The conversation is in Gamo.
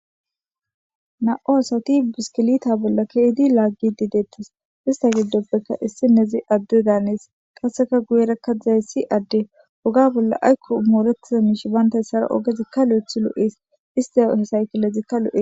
na7o asati biskilita bolla keidi laaggi dideettis ista giddopbeka issi nezi adde daanees qaseka guyerakka dzays si adde oga bolla aykko moorettiza miish bantay ssara ogezikka lo7ethi lo7ees iste hesaykilezikka lo7es